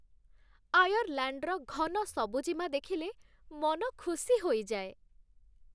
ଆୟର୍ଲାଣ୍ଡର ଘନ ସବୁଜିମା ଦେଖିଲେ ମନ ଖୁସି ହୋଇଯାଏ।